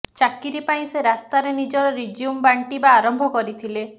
ଚାକିରି ପାଇଁ ସେ ରାସ୍ତାରେ ନିଜର ରିଜ୍ୟୁମ ବାଣ୍ଟିବା ଆରମ୍ଭ କରିଥିଲେ